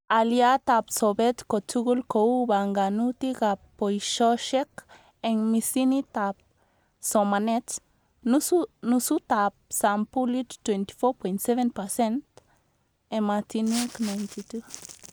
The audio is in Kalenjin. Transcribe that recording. Aliatab sobet kotugul kou banganutikab baishoshek eng misinitab somanet, nusutab sampulit 24.7%(ematinwek 92